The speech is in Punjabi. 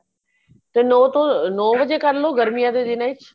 ਤੇ ਨੋ ਨੋ ਵਜੇ ਕਰ ਲੋ ਗਰਮੀਆਂ ਦੇ ਦਿਨਾ ਵਿੱਚ